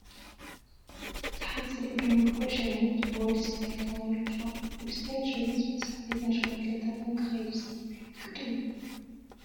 እዚ ሓፂር ኢዱ ምልኩዕ ሸሚዝ ቦዲ ስታይል ተባሂሉ ይፅዋዕ፡፡ ቦዲ ስታይል ሸሚዝ ምስ ዓበይትን ሽማግለታትን ክኸይድ ዝኽእል ዓይነት ቅዲ ድዩ?